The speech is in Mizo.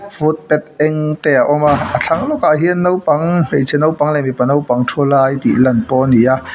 foot path eng te a awm a a thlang lawkah hian naupang hmeichhe naupang leh mipa naupang thu lai tih lan pawh ani a.